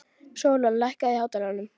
Sólon, lækkaðu í hátalaranum.